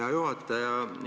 Hea juhataja!